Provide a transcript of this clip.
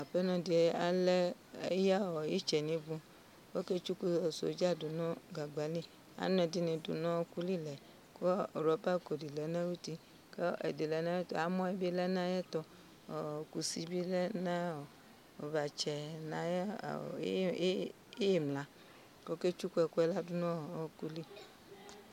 Apenɔ di eya itsɛ niivu' Ɔketsuku soja du nu gagba li anu ɛdini du nu ɔwɔkuli Ku rɔba lko dilɛ nu ayɛtu Amɔ bi lɛ nayɛtu Kusi bi lɛ nayu vatsɛ kɔku tsuku ɛkuɛ dunayl